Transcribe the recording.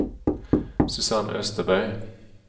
Susanne Österberg